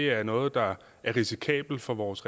er noget der er risikabelt for vores